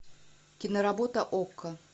киноработа окко